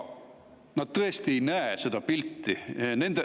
Nad tõesti ei näe seda pilti.